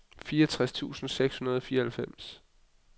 fireogtres tusind seks hundrede og fireoghalvfems